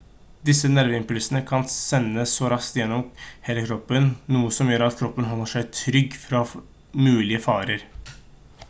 disse nerveimpulsene kan sendes så raskt gjennom hele kroppen noe som gjør at kroppen holder seg trygg fra mulige farer